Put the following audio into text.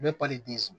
U bɛ pali di so